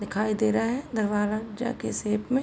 दिखाई दे रहा है के शेप में।